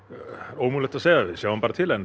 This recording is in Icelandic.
ómögulegt að segja við sjáum bara til en